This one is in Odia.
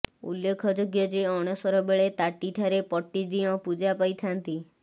ଉଲ୍ଲେଖଯୋଗ୍ୟ ଯେ ଅଣସର ବେଳେ ତାଟିଠାରେ ପଟ୍ଟିଦିଅଁ ପୂଜା ପାଇଥାନ୍ତି